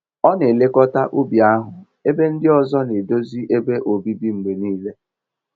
Ọ n'elekọta ubi ahụ ebe ndị ọzọ n'edozi ebe obibi mgbe niile.